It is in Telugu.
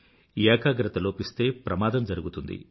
ఏకాగ్రత లోపిస్తే ప్రమాదం జరుగుతుంది